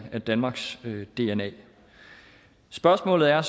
af danmarks dna spørgsmålet er